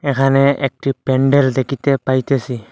এখানে একটি প্যান্ডেল দেখিতে পাইতেসি।